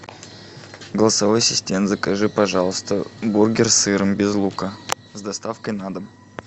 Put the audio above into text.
голосовой ассистент закажи пожалуйста бургер с сыром без лука с доставкой на дом